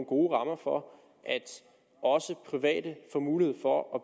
gode rammer for at også private får mulighed for at